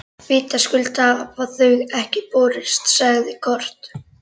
Vitaskuld hafa þau ekki borist, sagði Kort.